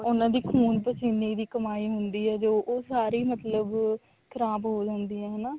ਉਹਨਾ ਦੀ ਖੂਨ ਪਸੀਨੇ ਦੀ ਕਮੀ ਹੁੰਦੀ ਆ ਉਹ ਸਾਰੀ ਮਤਲਬ ਖਰਾਬ ਹੋ ਜਾਂਦੀ ਆ ਹਨਾ